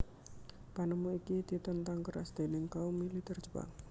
Panemu iki ditentang keras déning kaum militer Jepang